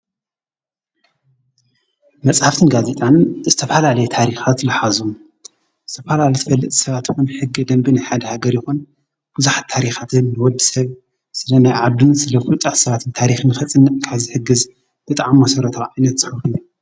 መጽሓፍትን ጋዜጣን ዝተፍላለየ ታሪኻት ለኃዙ ዝተፍላል ትፈልጥ ሰባትኹም ሕጊ ደንቢን ሓድ ሃገር ይኹን ዉዙኃት ታሪኻትን ወድ ሰብ ስለ ናይ ዓድንት ስለ ዂልፃሕ ሰባትን ታሪኽን ኽጽንቕካዝሕግዝ ብጥዓም መሠረት ዒነት ዝሕሉኒ።